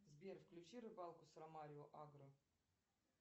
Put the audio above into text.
сбер включи рыбалку с ромарио агро